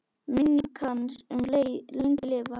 Minning hans mun lengi lifa.